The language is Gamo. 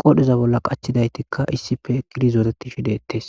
qodheza bolla qachidaytikka issippe shiqidi zooretishe dettes